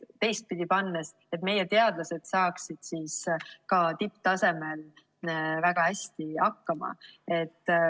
Teistpidi öeldes, me tahame, et meie teadlased saaksid ka tipptasemel väga hästi hakkama.